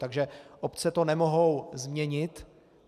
Takže obce to nemohou změnit.